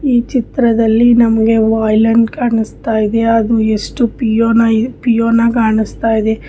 ಈ ಚಿತ್ರದಲ್ಲಿ ನಮಗೆ ವೈಲನ್ ಕಾಣಿಸ್ತಾ ಇದೆ ಅದು ಎಷ್ಟು ಫಿಯೋನಾ ಕಾಣಿಸ್ತಾ ಇದೆ.